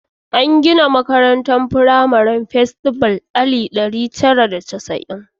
An gina makarantar firamare ta Festival a 1960.